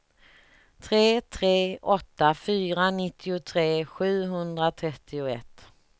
tre tre åtta fyra nittiotre sjuhundratrettioett